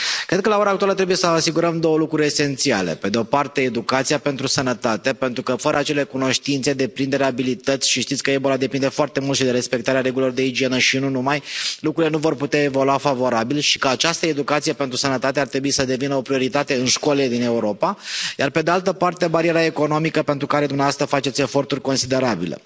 Cred că la ora actuală trebuie să asigurăm două lucruri esențiale pe de o parte educația pentru sănătate, pentru că fără acele cunoștințe, deprinderi, abilități, și știți că Ebola depinde foarte mult și de respectarea regulilor de igienă și nu numai, lucrurile nu vor putea evolua favorabil și că această educație pentru sănătate ar trebui să devină o prioritate în școlile din Europa, iar pe de altă parte, bariera economică pentru care dumneavoastră faceți eforturi considerabile.